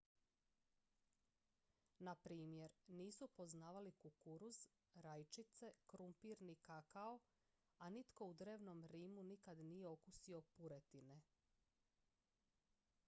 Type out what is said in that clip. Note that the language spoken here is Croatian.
na primjer nisu poznavali kukuruz rajčice krumpir ni kakao a nitko u drevnom rimu nikad nije okusio puretine